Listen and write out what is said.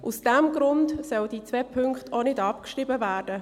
Aus diesem Grund sollen diese beiden Punkte nicht abgeschrieben werden.